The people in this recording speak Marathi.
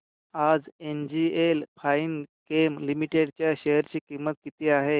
आज एनजीएल फाइनकेम लिमिटेड च्या शेअर ची किंमत किती आहे